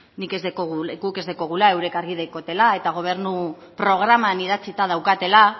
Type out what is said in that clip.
guk ez daukagula haiek argi daukatela eta gobernu programan idatzita daukatela